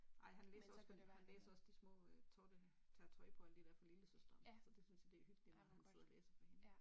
Ej han læser også han læser også de små øh Totte tager tøj og alle de der på for lillesøsteren så det synes de det hyggeligt at han sidder og læser for hende